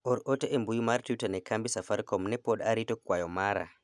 or ote e mbui mar twita ne kambi safarikom ne pod arito kwayo mara